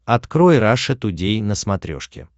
открой раша тудей на смотрешке